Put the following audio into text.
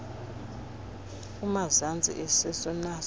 kumazantsi esisu nas